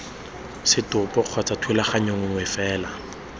setopo kgotsa thulaganyo nngwe fela